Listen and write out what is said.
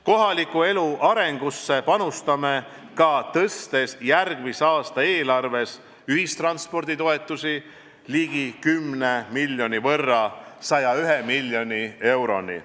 Kohaliku elu arengusse panustame ka tõstes järgmise aasta eelarves ühistransporditoetusi ligi 10 miljoni võrra ehk 101 miljoni euroni.